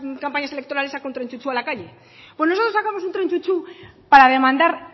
campañas electorales saca un tren chu chu a la calle pues nosotros sacamos un tren chu chu para demandar